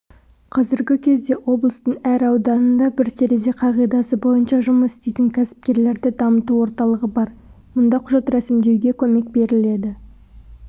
қазіргі кезде облыстың әр ауданында бір терезе қағидасы бойынша жұмыс істейтін кәсіпкерлерді дамыту орталығы бар мұнда құжат рәсімдеуге көмек беріледі